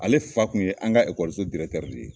Ale fa Kun ye an ka so de ye.